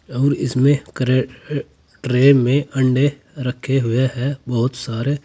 और इसमें क्रे ट्रे में अंडे रखे हुए हैं बहुत सारे।